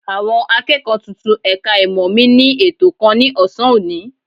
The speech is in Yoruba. Àwọn akẹ́kọ̀ọ́ tuntun ẹ̀ka ìmọ̀ mi ní ètò kan ní ọ̀sán òní